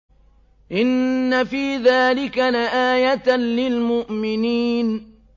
إِنَّ فِي ذَٰلِكَ لَآيَةً لِّلْمُؤْمِنِينَ